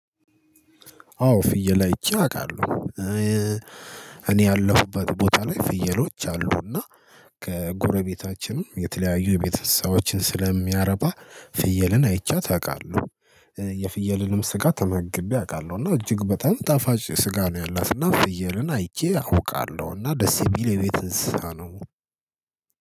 አዎ ፍየል አይቼ አውቃለሁ። እኔ ያለሁበት ቦታ ላይ ፍየሎች አሉና ከጎረቤታችንም የተለያዩ የቤት እንሰሳዎችን ስለሚያረባ ፍየልን አይቼ አውቃለሁ። የፍየልንም ስጋ ተመግቤ አውቃለሁ እና እጅግ በጣም ጣፋጭ ስጋ ነው። ያላት እና ፍየልን አይቼ አውቃለሁ እና ደስ የሚል የቤት እንስሳ ነው